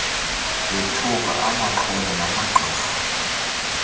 ethuka amaxhwele namagqirha